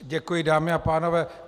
Děkuji, dámy a pánové.